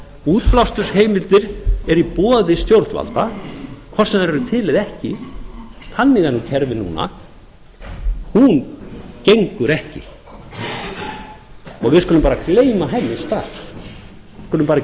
útblástursheimildir eru í boði stjórnvalda hvort sem þær eru til eða ekki þannig er nú kerfið núna hún gengur ekki við skulum bara gleyma henni strax við skulum bara ekki